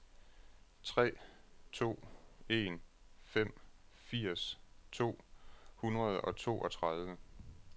tre to en fem firs to hundrede og toogtredive